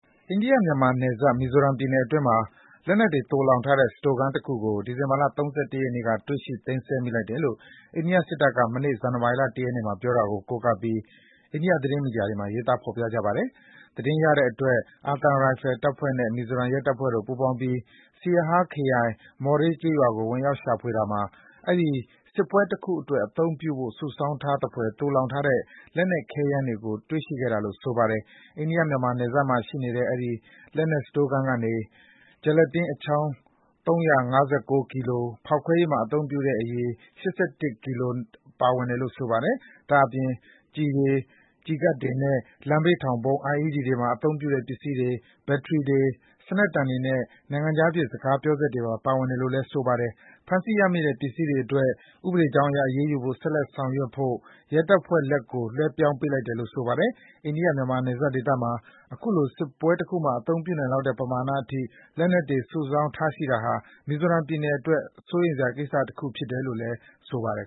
အိန္ဒိယ-မြန်မာနယ်စပ် မီဇိုရမ်ပြည်နယ်အတွင်းမှာ လက်နက်တွေ သိုလှောင်ထားတဲ့ စတိုခန်းတခုကို ဒီဇင်ဘာ ၃၁ ရက်နေ့က တွေ့ရှိ သိမ်းဆည်းမိလိုက်တယ်လို့ အိန္ဒိယစစ်တပ်က မနေ့ ဇန်နဝါရီလ ၁ ရက်နေ့မှာ ပြောတာကို ကိုးကားပြီး အိန္ဒိယ သတင်းမီဒီယာတွေမှာ ရေးသား ဖော်ပြကြပါတယ်။ သတင်းရတဲ့အတွက် အာသံရိုင်ဖယ်တပ်ဖွဲ့နဲ့ မီဇိုရမ် ရဲတပ်ဖွဲ့တို့ ပူးပေါင်းပြီး Siaha ခရိုင်၊ Mawhre ကျေးရွာကို ဝင်ရောက်ရှာဖွေတာမှာ အဲဒီ စစ်ပွဲတခုအတွက် အသုံးပြုဖို့ စုဆောင်းထားတဲ့သဖွယ် သိုလှောင်ထားတဲ့ လက်နက် ခဲယမ်းတွေကို တွေ့ရှိခဲ့တာလို့ ဆိုပါတယ်။ အိန္ဒိယ-မြန်မာ နယ်စပ်မှာရှိနေတဲ့ အဲဒီ လက်နက်စတိုခန်းကနေ ဂျယ်လတင်းအချောင်း ၃၅၉ ကီလို၊ ဖောက်ခွဲရေးမှာ အသုံးပြုတဲ့ အရည် ၈၁ ကီလိုတို့ ပါဝင်တယ်လို့ ဆိုပါတယ်။ ဒါ့အပြင် ကျည်တွေ၊ ကျည်ကပ်တွေနဲ့ လမ်းဘေးထောင်ဗုံး IED တွေမှာ အသုံးပြုတဲ့ ပစ္စည်းတွေ၊ ဘက်ထရီတွေ၊ စနက်တန်တွေနဲ့ နိုင်ငံခြားဖြစ် စကားပြောစက်တွေပါ ပါဝင်တယ်လို့ ဆိုပါတယ်။ ဖမ်းဆီးရမိတဲ့ အဲဒီပစ္စည်းတွေအတွက် ဥပဒေကြောင်းအရ အရေးယူဖို့ ဆက်လက် ဆောင်ရွက်ဖို့အတွက် ရဲတပ်ဖွဲ့လက်ကို လွှဲပြောင်းပေးလိုက်တယ်လို့ ဆိုပါတယ်။ အိန္ဒိယ-မြန်မာ နယ်စပ်ဒေသမှာ အခုလို စစ်ပွဲတခုမှာ အသုံးပြုနိုင်လောက်တဲ့ ပမာဏအထိ လက်နက်တွေ စုဆောင်းထားရှိတာဟာ မီဇိုရမ်ပြည်နယ်အတွက် အထူးစိုးရိမ်စရာကိစ္စရပ် ဖြစ်တယ်လို့ ဆိုပါတယ်